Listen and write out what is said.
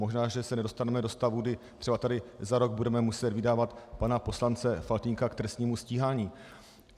Možná že se nedostaneme do stavu, kdy třeba tady za rok budeme muset vydávat pana poslance Faltýnka k trestnímu stíhání.